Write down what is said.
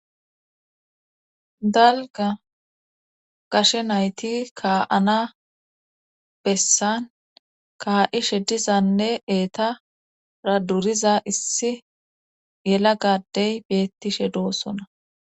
Dalga gashe nayti kaa7ana bessan kaa7ishe dizanne eeta ra duriza issi yela gadey beettishe doossona